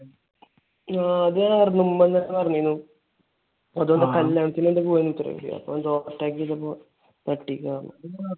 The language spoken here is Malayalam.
ആഹ് അത് ഞാൻ അറിഞ്ഞു. ഉമ്മ എന്റെയടുത്ത് പറഞ്ഞിരുന്നു. അതവർ കല്യാണത്തിന് എന്തോ പോകാൻ . അപ്പോൾ എന്തോ overtake ചെയ്തപ്പോ തട്ടിയതാന്ന്.